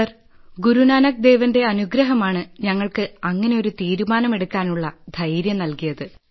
sir Guru Nanak ദേവന്റെ അനുഗ്രഹമാണ് ഞങ്ങൾക്ക് അങ്ങനെയൊരു തീരുമാനമെടുക്കാനുള്ള ധൈര്യം നല്കിയത്